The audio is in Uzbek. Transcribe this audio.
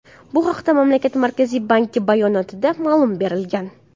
Bu haqda mamlakat Markaziy banki bayonotida ma’lumot berilgan.